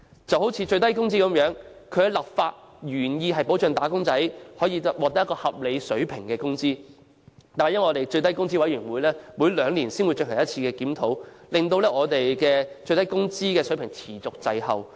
例如最低工資，其立法原意旨在保障"打工仔"獲得合理水平的工資，唯最低工資委員會每兩年才進行一次檢討，以致最低工資水平持續滯後。